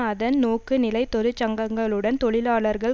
அதன் நோக்குநிலைதொழிற்சங்கங்களுடன் தொழிலாளர்கள்